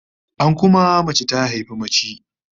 An kuma, mace ta haifi mace